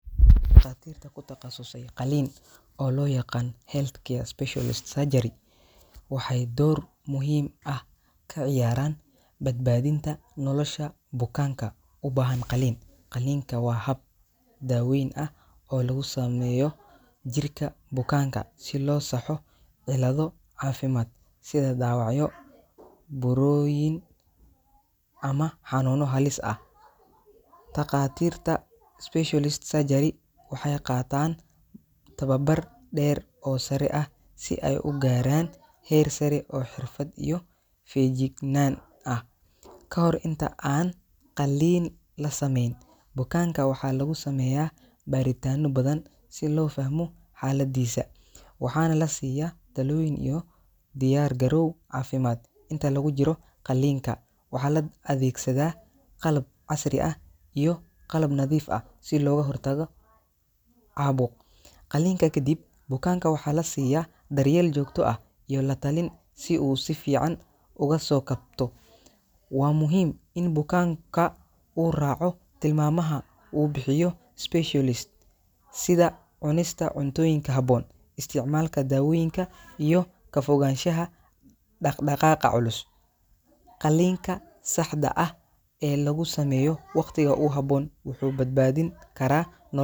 takhaatiirta ku taqasusay qaliin oo loo yaqaan heath care specialist surgery waxay door muhiim ah ka ciyaaraan badbaadinta nolosha bukaanka u baahan qaliin ,qaliinka waa hab daweyn ah oo lagu sameeyo jirka bukaanka si loo saxo cilado caafimaad sida dhaawacyo, buuroyin ama xanuuno halis ah takhaatirta special surgery waxay qataan tababar dheer oo sare ah si ay u gaaraan heersare oo xirfad iyo feejignaan ah ka hor inta aan qalliin la sameyn bukaanka waxaa lagu sameeyaa baaritaano badan si loo fahmo xaaladiisa waxaana la siiyaa talooyin iyo diyaar garow caafimaad inta lagu jiro qaliinka waxaa la adeegsadaa qalab casri ah iyo qalab nadiif ah si looga hortago, caabo qaliinka kadib bukaanka waxaa la siiyaa daryeel joogto ah iyo latalin si uu si fiican uga soo kabto waa muhiim in bukaanka uu raaco tilmaamaha uu bixiyo specialist sida cunista cuntooyinka habboon isticmaalka dawooyinka iyo ka fogaanshaha dhaqdhaqaga culus ,qaliiinka saxda eeh ee lagu sameyo waqtiga uhaboon wuxuu badbadin kara nolosha.